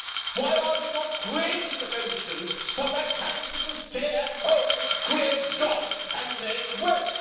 Why are we not creating the conditions for that capital to stay at home to create jobs and make wealth?